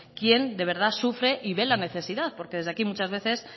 quien de verdad sufre y ve la necesidad porque desde aquí muchas veces